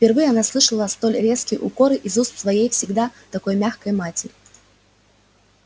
впервые она слышала столь резкие укоры из уст своей всегда такой мягкой матери